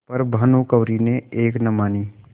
पर भानुकुँवरि ने एक न मानी